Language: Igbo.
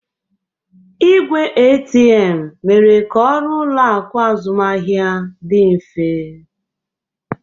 Igwe ATM mere ka ọrụ ụlọ akụ azụmaahịa dị mfe